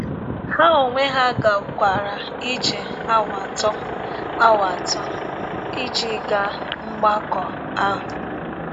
Ha onwe ha gakwara ije awa atọ awa atọ ịjị gaa mgbakọ ahụ.